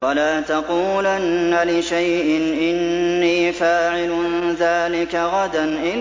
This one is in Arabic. وَلَا تَقُولَنَّ لِشَيْءٍ إِنِّي فَاعِلٌ ذَٰلِكَ غَدًا